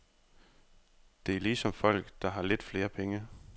Det er ligesom folk, der har lidt flere penge.